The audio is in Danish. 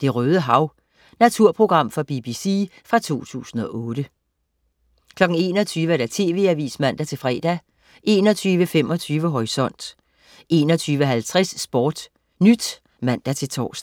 "Det Røde Hav".Naturprogram fra BBC fra 2008 21.00 TV Avisen (man-fre) 21.25 Horisont 21.50 SportNyt (man-tors)